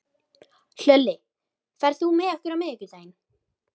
Hlölli, ferð þú með okkur á miðvikudaginn?